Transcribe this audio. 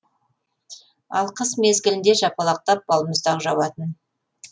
ал қыс мезгілінде жапалақтап балмұздақ жауатын